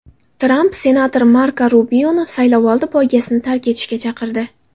Tramp senator Marko Rubioni saylovoldi poygasini tark etishga chaqirdi.